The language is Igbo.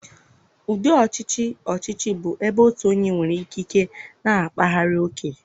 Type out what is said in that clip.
Ụdị ọchịchị ọchịchị bụ ebe otu onye nwere ikike na-akparaghị ókè.